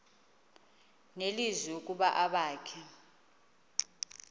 nelizwi ukuba abakhe